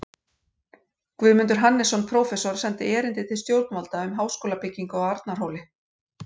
Guðmundur Hannesson, prófessor, sendi erindi til stjórnvalda um háskólabyggingu á Arnarhóli.